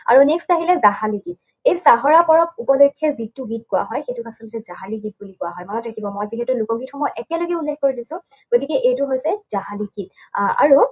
আৰু next আহিলে যাহাৰী গীত। এই চাহৰাই পৰৱ উপলক্ষে যিটো গীত গোৱা হয়, সেইটোক আচলতে যাহাৰী গীত বুলি কোৱা হয়। মনত ৰাখিব, মই যিহেতু লোকগীতসমূহ একেলগে উল্লেখ কৰি দিছোঁ, গতিকে এইটো হৈছে যাহাৰী গীত। আহ আৰু